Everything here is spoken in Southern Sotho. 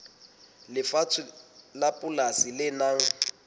lefatshe la polasi le nang